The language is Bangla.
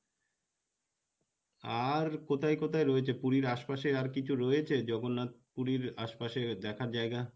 আর কোথায় কোথায় রয়েছে পুরির আশপাশে আর কিছু রয়েছে, জগন্নাথ পুরির আশপাশে দেখার জায়গা?